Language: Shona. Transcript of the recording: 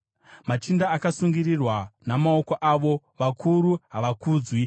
Machinda akasungirirwa namaoko avo; vakuru havakudzwi.